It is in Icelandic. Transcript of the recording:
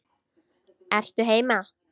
Ertu heima?